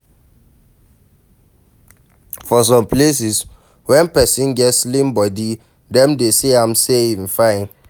For some places when person get slim bodi dem dey see am sey im fine